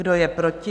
Kdo je proti?